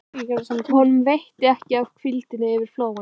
Honum veitir ekki af hvíldinni yfir flóann.